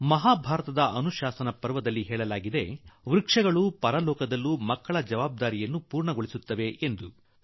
ಮಹಾಭಾರತದ ಅನುಶಾಸನ ಪರ್ವದಲ್ಲಿ ಮರಗಳು ಪರಲೋಕದಲ್ಲೂ ಮಕ್ಕಳ ಜವಾಬ್ದಾರಿಯನ್ನು ಪೂರ್ಣಗೊಳಿಸುತ್ತವೆ ಎಂದು ತಿಳಿಸಲಾಗಿದೆ